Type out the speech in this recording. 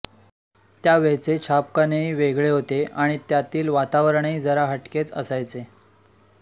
त्यावेळचे छापखानेही वेगळे होते आणि त्यातील वातावरणही जरा हटकेच असायचे